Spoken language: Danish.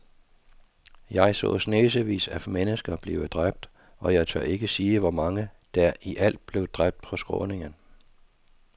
Jeg så snesevis af mennesker blive dræbt, og jeg tør ikke sige, hvor mange der i alt blev dræbt på skråningen.